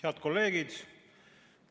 Head kolleegid!